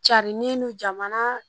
Carinnen non jamana